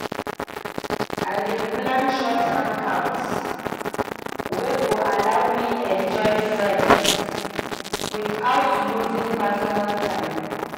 I dey plan short hangouts wey go allow me enjoy friends without losing personal time.